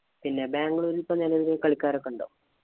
പിന്നെ ബാംഗ്ലൂര് ഇപ്പൊ നെലവില് കളിക്കാരൊക്കെ ഉണ്ടോ?